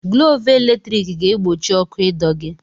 Glọvụ eletrik ga-egbochi ọkụ ịdọ gị.